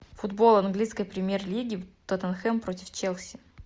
футбол английской премьер лиги тоттенхэм против челси